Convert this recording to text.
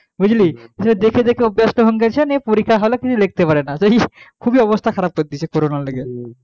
বুঝলি দেখে দেখে অভ্যাস করে নিয়ে গেছে গিয়ে পরীক্ষার হলে আর কিছু লিখতে পারেনা খুবই অভ্যাস খারাপ করে দিয়েছে করার লেগে,